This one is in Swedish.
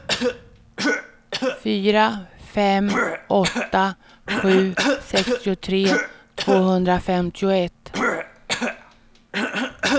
fyra fem åtta sju sextiotre tvåhundrafemtioett